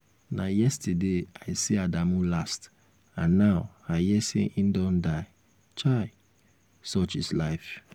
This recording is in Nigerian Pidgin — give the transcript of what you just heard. na yesterday i see adamu last and now i hear say im don die. chai! such is life